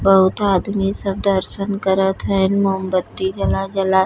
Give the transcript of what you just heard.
बहुत आदमी सब दर्सन करत हइन मोमबत्ती जला जला।